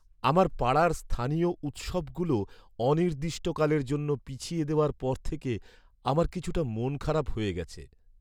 আমার পাড়ার স্থানীয় উৎসবগুলো অনির্দিষ্টকালের জন্য পিছিয়ে দেওয়ার পর থেকে আমার কিছুটা মনখারাপ হয়ে গেছে।